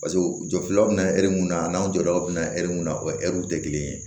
Paseke u jɔlaw bɛ na hɛri mun na a n'aw jɔra u bɛ na mun na o w tɛ kelen ye